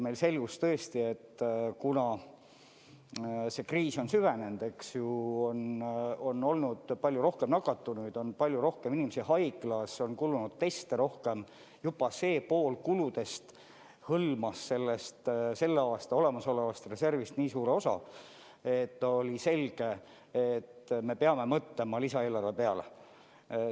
Meil selgus tõesti, kuna see kriis on süvenenud, on olnud palju rohkem nakatunuid, on palju rohkem inimesi haiglas, on kulunud rohkem teste, juba see pool kuludest hõlmas selle aasta olemasolevast reservist nii suure osa, et oli selge, et me peame mõtlema lisaeelarve peale.